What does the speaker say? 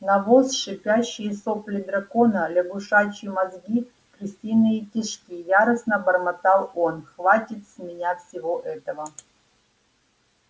навоз шипящие сопли дракона лягушачьи мозги крысиные кишки яростно бормотал он хватит с меня всего этого